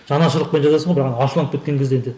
жанашырлықпен жазасың ғой бірақ ашуланып кеткен кезде енді